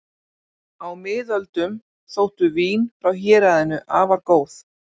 Á miðöldum þóttu vín frá héraðinu afar góð.